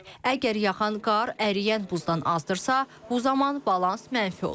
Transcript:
Əgər yağan qar əriyən buzdan azdırsa, bu zaman balans mənfi olur.